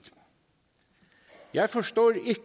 jeg forstår